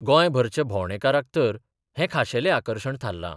गोंयभरच्या भोंवडेकाराक तर हें खाशेलें आकर्शण थारलां.